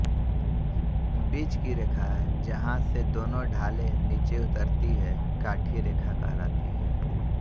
बीच की रेखा जहाँ से दोनो ढालें नीचे उतरती हैं काठी रेखा कहलाती है